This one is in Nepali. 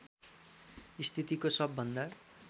स्थितिको सबभन्दा